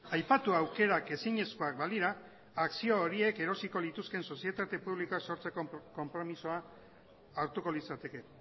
aipatu aukerak ezinezkoak balira akzio horiek erosiko lituzkeen sozietate publikoa sortzeko konpromisoa hartuko litzateke